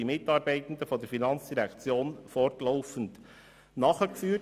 Dieses wird von den Mitarbeitenden der FIN fortlaufend nachgeführt.